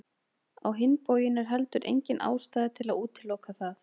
Á hinn bóginn er heldur engin ástæða til að útiloka það.